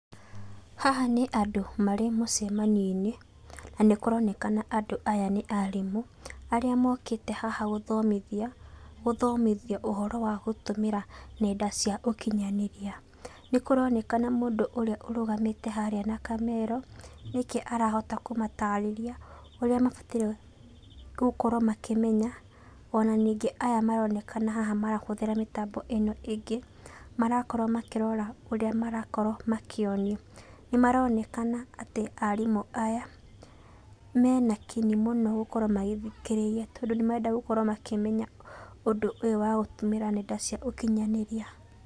Haha nĩ andũ marĩ mũcemanio-inĩ na nĩ kũronekana aya nĩ arimũ arĩa mokĩte haha gũthomĩthio ũhoro wa gũtũmĩra nenda cia ũkinyanĩria, nĩ kũronekana mũndũ ũrĩa ũrũgamĩte harĩa na kamero nĩke arahota kũmatarĩrĩa ũrĩa mabatairie gũkorrwo makĩmenya ona ningĩ aya maronekana haha marahũthĩra mĩtambo ĩno ingĩ marakorwo makĩrora ũrĩa marakorwo makĩonio nĩ maronekana atĩ arimũ aya mena kinyi mũno gũkorwo magĩthikĩrĩria tondũ ni marenda gũkorwo makĩmenya ũndũ ũyũ wa gũtũmĩra nenda cia ũkĩnyanĩria.